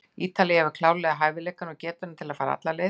Ítalía hefur klárlega hæfileikana og getuna til að fara alla leið.